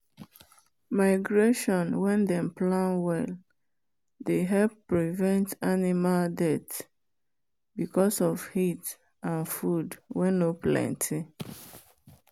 migration wen dem plan well dey help prevent animal death because of heat and food wen nor planty.